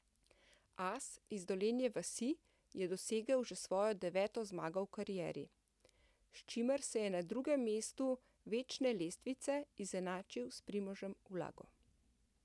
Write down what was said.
As iz Dolenje vasi je dosegel že svojo deveto zmago v karieri, s čimer se je na drugem mestu večne lestvice izenačil s Primožem Ulago.